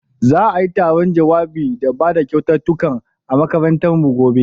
Za'ai taron jawabai da bada kyaututtukan a makarantar mu gobe.